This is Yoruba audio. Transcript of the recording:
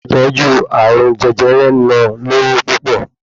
Ìtọ́jú arùn jẹjẹrẹ náà lowo púpọ̀